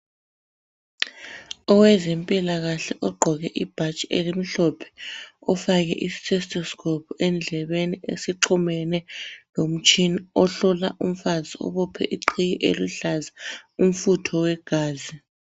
Owezempilakahle ogqoke ibhatshi elimhlophe ufake i stethoscope endlebeni esixhumene lomtshina ohlala umfazi obephe iqhiye eluhlaza umfutho wegazi.